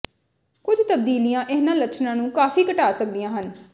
ਕੁਝ ਤਬਦੀਲੀਆਂ ਇਹਨਾਂ ਲੱਛਣਾਂ ਨੂੰ ਕਾਫ਼ੀ ਘਟਾ ਸਕਦੀਆਂ ਹਨ